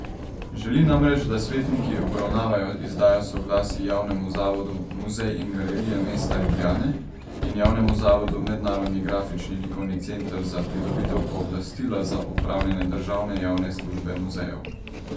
Želi namreč, da svetniki obravnavajo izdajo soglasij javnemu zavodu Muzej in galerije mesta Ljubljane in javnemu zavodu Mednarodni grafični likovni center za pridobitev pooblastila za opravljanje državne javne službe muzejev.